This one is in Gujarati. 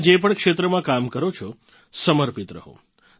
તમે જે પણ ક્ષેત્રમાં કામ કરો છો સમર્પિત રહો